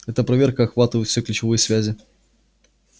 эта проверка охватывает все ключевые связи